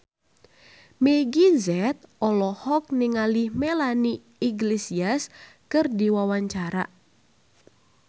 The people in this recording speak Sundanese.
Meggie Z olohok ningali Melanie Iglesias keur diwawancara